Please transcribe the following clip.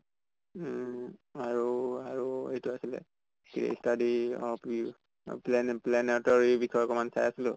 উম আৰু আৰু এইটো আছিলে p study of p অহ plan planet ৰ এই বিষয়ে অকমান চাই আছিলো